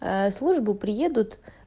а служба приедут